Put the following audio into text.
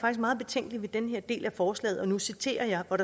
meget betænkelig ved den her del af forslaget og nu citerer jeg